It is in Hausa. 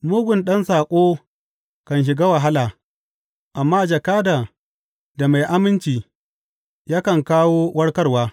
Mugun ɗan saƙo kan shiga wahala, amma jakadan da mai aminci yakan kawo warkarwa.